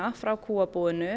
frá kúabúinu